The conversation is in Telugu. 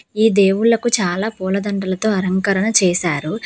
ఈ దేవుళ్లకు చాలా పూలదండలతో అలంకరణ చేశారు.